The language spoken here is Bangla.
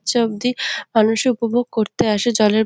অবধি মানুষই উপভোগ করতে আসে জলের --